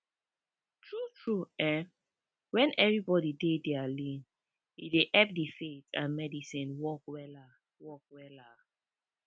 tru tru eh wen everybodi dey dia lane e dey epp di faith and medicine work wella work wella